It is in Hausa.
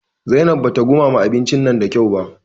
Zainab bata ɗumama abincin nan da kyau ba.